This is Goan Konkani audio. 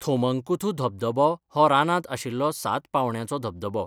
थोमंकुथू धबधबो हो रानांत आशिल्लो सात पांवड्याचो धबधबो.